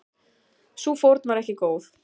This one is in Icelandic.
Sú fórn var ekki góð.